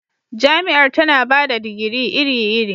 Jami'ar tana ba da digiri iri-iri